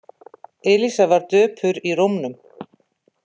Elísa var döpur í rómnum.